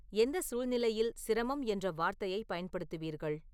எந்த சூழ்நிலையில் சிரமம் என்ற வார்த்தையைப் பயன்படுத்துவீர்கள்